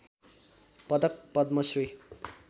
पदक पद्म श्री